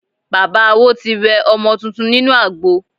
Bàbá Awo ti wẹ ọmọ tuntun nínú àgbo.